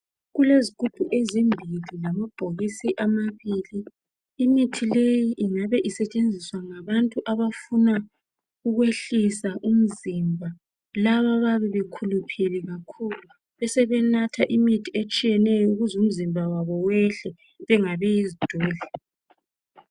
Kulezigubhu ezimbili lamabhokisi amabili. Imithi leyi ingabe isetshenziswa ngabantu abafuna ukwehlisa umzimba labo abayabe bekhuluphele kakhulu besebenatha imithi etshiyèneyo ukuze umzimba wabo wehle bengabi yizidudla.